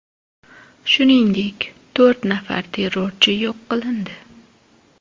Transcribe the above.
Shuningdek, to‘rt nafar terrorchi yo‘q qilindi .